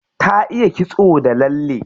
Ta iya kitso da lalle.